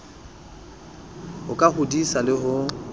ho ka hodisa le ho